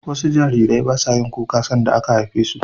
wasu Jarirai basayin kuka sanda aka haifesu